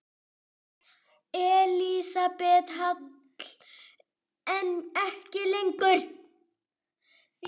Elísabet Hall: En ekki lengur?